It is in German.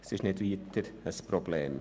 Das ist kein Problem.